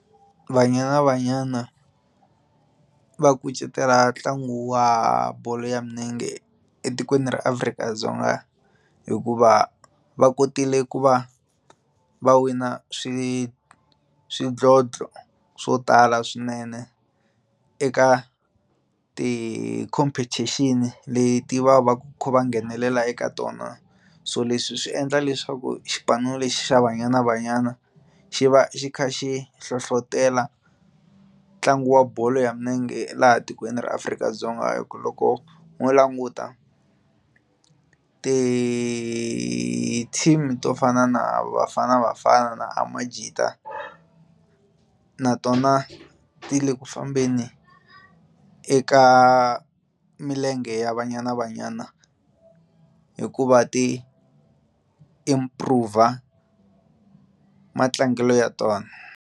Banyana Banyana va kucetela ntlangu wa bolo ya milenge etikweni ra Afrika-Dzonga hikuva va kotile ku va va wina swi swidlodlo swo tala swinene eka ti-competition leti va va kha va nghenelela eka tona so leswi swi endla leswaku xipano lexi xa Banyana Banyana xi va xi kha xi hlohlotelo ntlangu wa bolo ya milenge laha tikweni ra Afrika-Dzonga hikuva loko ho languta ti-team to fana na Bafana Bafana na Amajita na tona ti le ku fambeni eka milenge ya Banyana Banyana hikuva ti improve matlangelo ya tona.